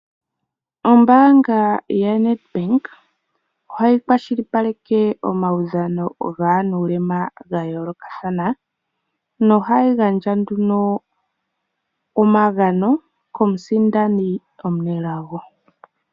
Ombaanga yaNedBank ohayi kwashilipaleke omaudhano gaanuulema ga yoolokathana. Nohayi gandja nduno omagano komusindani omunelago.